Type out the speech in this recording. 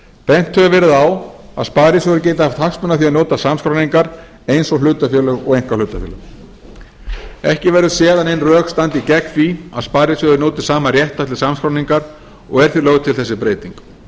bent hefur verið á að sparisjóðir geti haft hagsmuni af því að njóta samskráningar eins og hlutafélög og einkahlutafélög ekki verður séð að nein rök standi gegn því að sparisjóðir njóti sama réttar til samskráningar og er því lögð til þessi breyting